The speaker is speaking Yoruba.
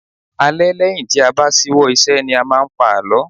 Alẹ́ lẹ́yìn tí a bá ṣíwọ́ ìṣe ni a máa ń pa àlọ́